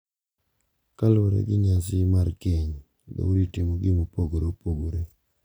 Kaluwore gi nyasi mar keny, dhoudi timogi mopogore opogore